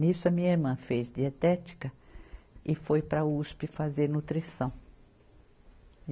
Nisso a minha irmã fez dietética e foi para Uspe fazer nutrição.